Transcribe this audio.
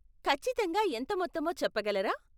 ఖచ్చితంగా ఎంత మొత్తమో చెప్పగలరా?